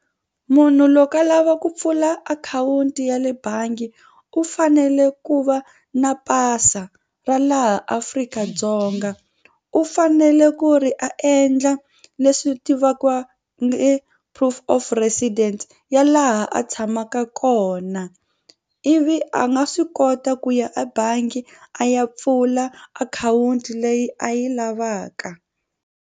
Munhu loko a lava ku pfula akhawunti ya le bangi u fanele ku va na pasa ra laha Afrika-Dzonga u fanele ku ri a endla leswi tivaka proof of presidence ya laha a tshamaka kona ivi a nga swi kota ku ya ebangi a ya pfula akhawunti leyi a yi lavaka.